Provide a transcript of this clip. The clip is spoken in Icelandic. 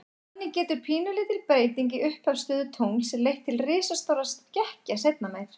Þannig getur pínulítil breyting í upphafsstöðu tungls leitt til risastórra skekkja seinna meir.